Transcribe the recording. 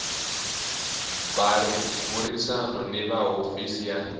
burisana ni va hofisi ya